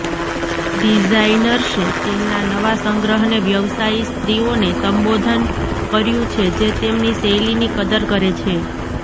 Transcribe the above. ડિઝાઇનર્સે તેમના નવા સંગ્રહને વ્યવસાયી સ્ત્રીઓને સંબોધન કર્યું છે જે તેમની શૈલીની કદર કરે છે